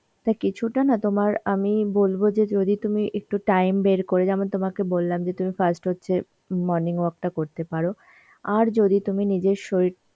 তা কিছুটা না তোমার আমি বলব যে যদি তুমি একটু time বের করে যেমন তোমাকে বললাম যে তুমি first হচ্ছে morning walk টা করতে পারো. আর যদি তুমি নিজের শরীর